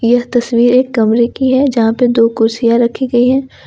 यह तस्वीर एक कमरे की है जहां पे दो कुर्सियां रखी गई है।